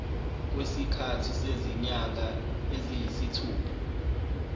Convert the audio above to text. kwesikhathi sezinyanga eziyisithupha